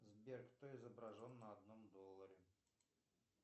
сбер кто изображен на одном долларе